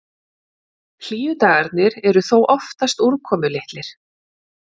Hlýju dagarnir eru þó oftast úrkomulitlir.